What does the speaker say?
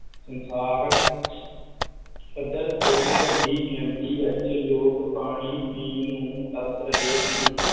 ਸੰਸਾਰ ਪੱਧਰ ਤੇ ਵੱਡੀ ਗਿਣਤੀ ਵਿੱਚ ਲੋਕ ਪਾਣੀ ਪੀਣ ਨੂੰ ਤਰਸ ਰਹੇ ਹਨ